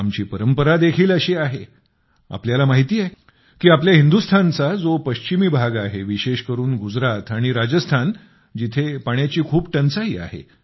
आमची परंपरा देखील अशी आहे आपल्याला माहिती आहे की आपल्या हिंदुस्थानचा जो पश्चिमी भाग आहे विशेष करून गुजरात आणि राजस्थान तिथे पाण्याची खूप टंचाई आहे